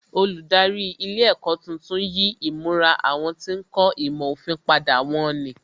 Olùdarí ilé ẹ̀kọ́ tuntun yí ìmura àwọn tí ń kọ́ ìmọ̀ òfin padà wón ní